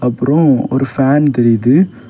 அப்புறம் ஒரு ஃபேன் தெரியுது.